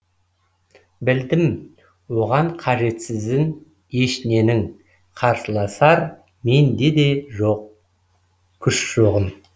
білдім оған қажетсізін ешненің қарсыласар менде де оған күш жоғын